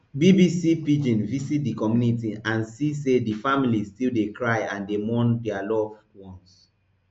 bbc pidgin visit di community and see say di families still dey cry and dey mourn dia loved ones